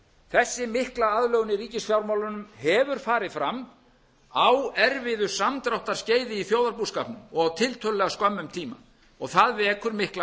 þessi mikla aðlögun í ríkisfjármálunum hefur farið fram á erfiðu samdráttarskeiði í þjóðarbúskapnum og á tiltölulega skömmum tíma það vekur mikla